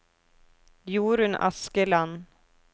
Jorunn Askeland